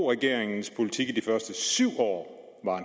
regeringens politik i de første syv år